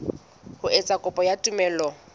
ho etsa kopo ya tumello